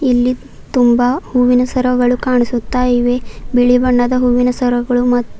ಇಲ್ಲಿ ತುಂಬಾ ಹೂವಿನ ಸರಗಳು ಕಾಣಿಸುತ್ತಾ ಇವೆ ಬಿಳಿ ಬಣ್ಣದ ಹೂವಿನ ಸರಗಳು ಮತ್--